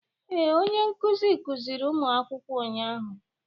Ee, onye nkuzi kuziri ụmụ akwụkwọ ụnyahụ.